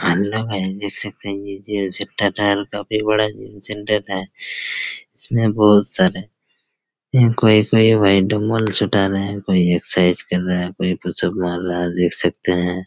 Hello guys देख सकते है ये जिम सेंटर है और काफी बड़ा जिम सेंटर है इसमें बहोत सारे इन कोई-कोई भाई डंबलस उठा रहे कोई एक्सरसाइज कर रहा है कोई मार रहा है देख सकते है।